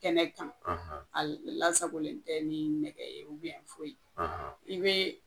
kɛnɛ kan a lasagolen tɛ ni nɛgɛ ye foyi.